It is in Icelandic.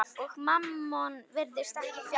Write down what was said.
Og Mammon virðist ekki fjarri.